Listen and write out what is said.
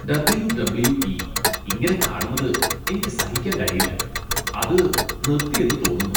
W. W E . ഇങ്ങനെ കാണുന്നത് എനിക്ക് സഹിക്കാൻ കഴിയില്ല. അത് നിർത്തിയെന്ന് തോന്നുന്നു.